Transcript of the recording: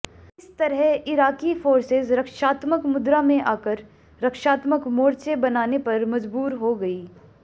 इस तरह Iraqi forces रक्षात्मक मुद्रा में आकर रक्षात्मक मोर्चे बनाने पर मजबूर हो गयीं